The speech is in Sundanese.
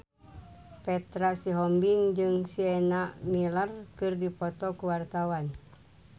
Petra Sihombing jeung Sienna Miller keur dipoto ku wartawan